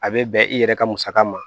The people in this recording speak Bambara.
A bɛ bɛn i yɛrɛ ka musaka ma